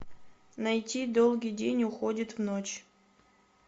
найти долгий день уходит в ночь